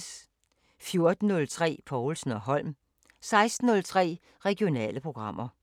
14:03: Povlsen & Holm 16:03: Regionale programmer